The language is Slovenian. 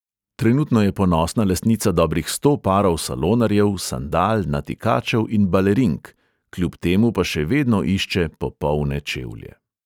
Trenutno je ponosna lastnica dobrih sto parov salonarjev, sandal, natikačev in balerink, kljub temu pa še vedno išče popolne čevlje.